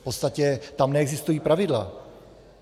V podstatě tam neexistují pravidla.